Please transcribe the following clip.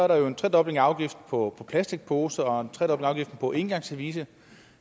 der er en tredobling af afgiften på plastikposer og en tredobling af afgiften på engangsservice